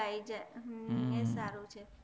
ઊંઘ આવી જય છે એ સારું છે